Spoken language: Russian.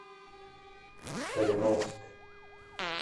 кореновск